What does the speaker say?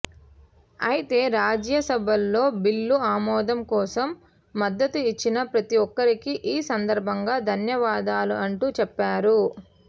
అయితే రాజ్యసభలో బిల్లు ఆమెదం కోసం మ ద్దతు ఇచ్చిన ప్రతి ఒక్కరికీ ఈ సందర్బంగా ధన్యవాదాలు అంటూ చెప్పారు